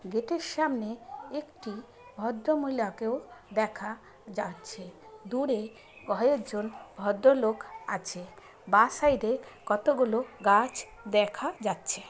Gate -এর সামনে একটি ভদ্রমহিলাকেও দেখা যাচ্ছে দূরে কয়েকজন ভদ্রলোক আছে বাঁ সাইড -এ কতগুলো গাছ দেখা যাচ্ছে।